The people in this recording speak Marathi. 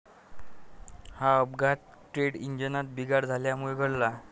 हा अपघात ट्रेंट इंजिनात बिघाड झाल्यामुळे घडला.